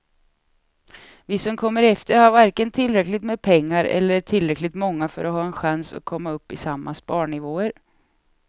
Vi som kommer efter har varken tillräckligt med pengar eller är tillräckligt många för att ha en chans att komma upp i samma sparnivåer.